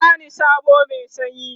ki bani soɓo Mai sanyi!